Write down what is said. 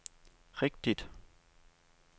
rigtigt